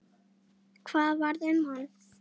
Hvað varð um hann?